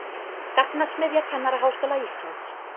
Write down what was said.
Gagnasmiðja Kennaraháskóla Íslands